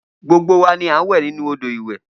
Gbogbo wa ni a ń wẹ̀ nínú odò ìwẹ̀